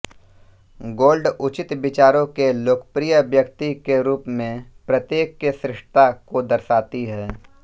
gold उचित विचारों के लोकप्रिय व्यक्ति के रूप में प्रत्येक के श्रेष्ठता को दर्शाती है